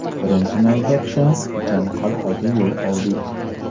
Birinchi navbatda, Ichan Qal’aga yo‘l oldik.